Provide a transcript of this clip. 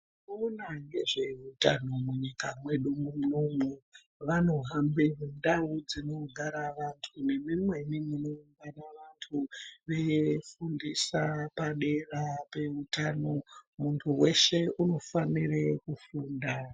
Vanoona ngezvehutano munyika mwedu munomu vanohambe mundau dzinogara vantu nemumweni munogara vantu. Veifundisa padera peutano muntu weshe unofanire kufunda.